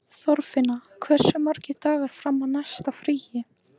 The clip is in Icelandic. Þorfinna, hversu margir dagar fram að næsta fríi?